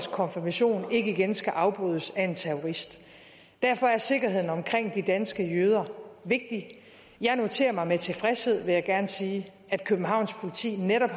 konfirmation ikke igen skal afbrydes af en terrorist derfor er sikkerheden omkring de danske jøder vigtig jeg noterer mig med tilfredshed vil jeg gerne sige at københavns politi netop